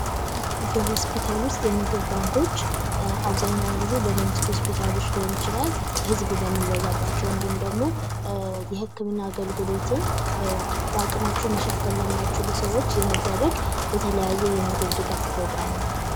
የሆስፒታሎች የምግብ ባንኮች አብዛኛውን ጊዜ በመንግስት ሊሆን ይችላል ህዝብ በሚበዛባቸው ወይም ደግሞ የህክምና አገልግሎትን የሚደረግ የተለያዩ የምግብ ድጋፍ ፕሮግራም ነው።